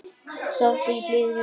Sof þú í blíðri ró.